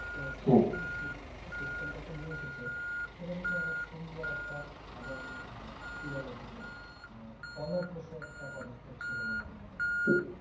সেই system টাতে নিয়ে এসেছে সেদিনতো অনেক সুন্দর একটা এবং আহ কি বলে এটাকে আহ একটা পদক্ষেপ ছিল বলে আমি মনে করি